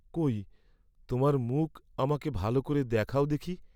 কৈ তোমার মুখ আমাকে ভাল করে দেখাও দেখি।